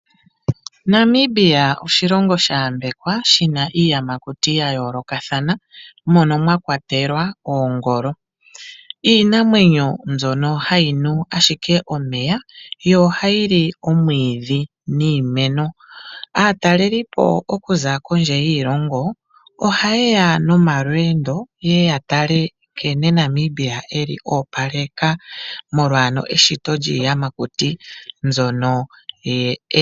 Namibia oshilongo sha yambekwa, shina iiyamakuti ya yoolokathana mono mwakwatelwa oongolo . Mbino iinamwenyo mbyono hayi nu ashike omeya , yo ohayi li omwiidhi niimeno. Aatalelipo okuza kondje yiilongo ohayeya nomalweendo yeye yatale nkene Namibia oopaleka molwa eshito lyiiyamakuti .